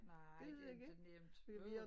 Nej det ikke nemt åh